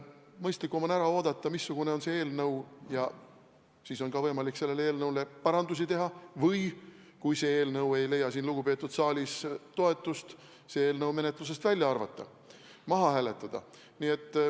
Mõistlikum on ära oodata, missugune on see eelnõu, ja siis on ka võimalik selle parandamiseks ettepanekuid teha või kui see eelnõu ei leia siin lugupeetud saalis toetust, siis see menetlusest välja arvata, maha hääletada.